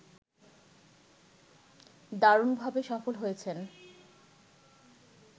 দারুণভাবে সফল হয়েছেন